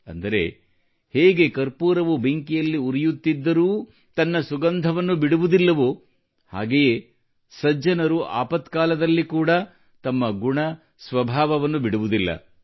ಅಂದರೆ ಹೇಗೆ ಕರ್ಪೂರವು ಬೆಂಕಿಯಲ್ಲಿ ಉರಿಯುತ್ತಿದ್ದರೂ ತನ್ನ ಸುಗಂಧವನ್ನು ಬಿಡುವುದಿಲ್ಲವೋ ಹಾಗೆಯೆ ಸಜ್ಜನರು ಆಪತ್ಕಾಲದಲ್ಲಿ ಕೂಡ ತಮ್ಮ ಗುಣ ಸ್ವಭಾವವನ್ನು ಬಿಡುವುದಿಲ್ಲ